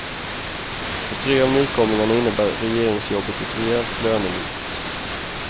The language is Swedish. För tre av nykomlingarna innebär regeringsjobbet ett rejält lönelyft.